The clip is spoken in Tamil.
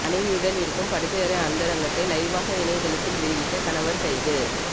மனைவியுடன் இருக்கும் படுக்கை அறை அந்தரங்கத்தை லைவாக இணையதளத்தில் வெளியிட்ட கணவர் கைது